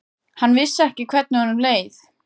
Hann vissi ekki hvernig honum leið.